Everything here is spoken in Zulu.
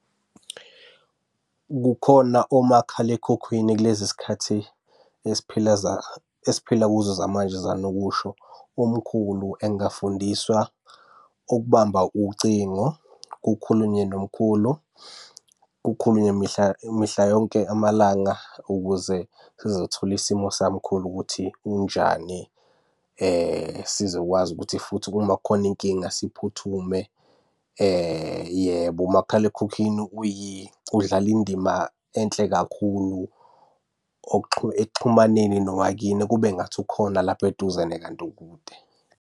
Kukhona omakhalekhukhwini kulezi zikhathi esiphila esiphila kuzo zamanje zikanokusho. Umkhulu engafundiswa ukubamba ucingo kukhulunywe nomkhulu kukhulunywe mihla yonke amalanga, ukuze sizothola isimo samkhulu ukuthi unjani. Sizokwazi ukuthi futhi uma kukhona inkinga siphuthume, yebo umakhalekhukhwini udlale indima enhle kakhulu ekuxhumaneni nowakini, kube ngathi ukhona lapho eduzane kanti ukude.